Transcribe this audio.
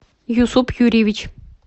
юсуп юрьевич